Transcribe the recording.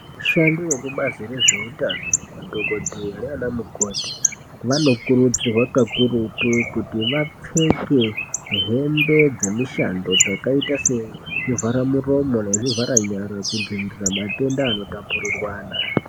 Ashandi vekubazi rezveutano, madhokodheya nanamukoti vanokurudzirwa kakurutu kuti vapfeke hembe dzemishando dzakaita sezvivharamuromo nezvivharanyara kudzivirira matenda anotapurirwana.